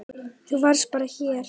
Þú varst bara hér.